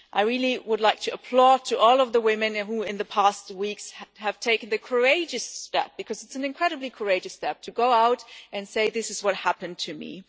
I really would like to applaud all of the women who in the past weeks have taken the courageous step because it is an incredibly courageous step to go out and say this is what happened to me'.